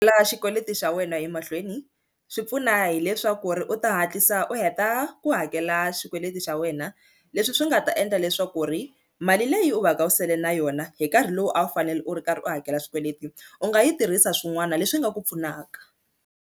La xikweleti xa wena emahlweni swi pfuna hileswaku ri u ta hatlisa u heta ku hakela xikweleti xa wena leswi swi nga ta endla leswaku ku ri mali leyi u va ka u sele na yona hi nkarhi lowu a wu fanele u ri karhi u hakela swikweleti u nga yi tirhisa swin'wana leswi nga ku pfunaka.